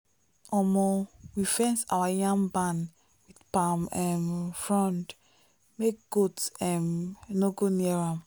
omo we fence our yam barn palm um frond make goat um no go near am.